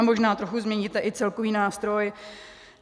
A možná trochu změníte i celkový nástroj.